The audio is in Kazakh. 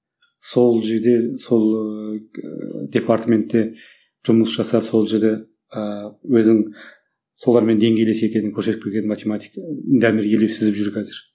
сол жерде сол ыыы департаментте жұмыс жасап сол жерде ыыы өзін солармен деңгейлес екенін көрсетіп келген математик дамир елеусізов жүр қазір